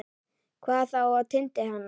Hvað þá á tindi hennar.